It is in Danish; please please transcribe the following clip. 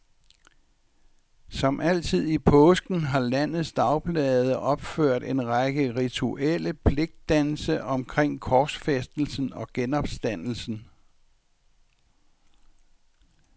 Som altid i påsken har landets dagblade opført en række rituelle pligtdanse omkring korsfæstelsen og genopstandelsen.